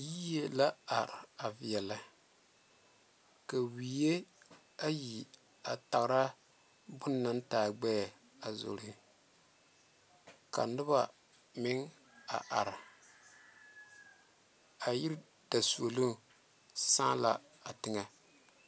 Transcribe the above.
Yie la are a veɛle ka wee ayi are a taŋera bone naŋ are taa gbɛ ka noba meŋ a are a yiri dazuoloŋ sala a teŋɛ.